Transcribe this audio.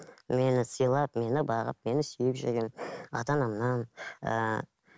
мені сыйлап мені бағып мені сүйіп жүрген ата анамнан ыыы